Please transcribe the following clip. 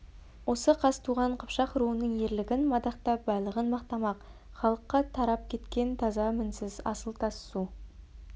осы қазтуған қыпшақ руының ерлігін мадақтап байлығын мақтамақ халыққа тарап кеткен таза мінсіз асыл тас су